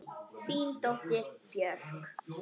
Þín dóttir, Björk.